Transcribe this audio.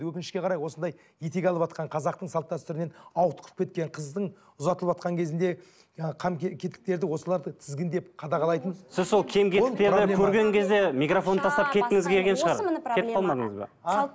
өкінішке қарай осындай етек алыватқан қазақтың салт дәстүрінен ауытқып кеткен қыздың ұзатылыватқан кезінде ы қам кетіктерді осыларды тізгіндеп қадағалайтын